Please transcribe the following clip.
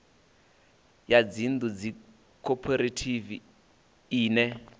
ya dzinnḓu ndi khophorethivi ine